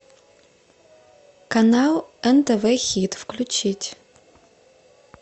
канал нтв хит включить